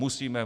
Musíme!